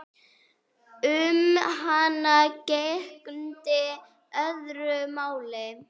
Um hana gegndi öðru máli.